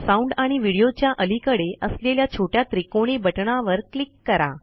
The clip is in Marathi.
साउंड आणि व्हिडिओ च्या अलीकडे असलेल्या छोट्या त्रिकोणी बटणावर क्लिक करा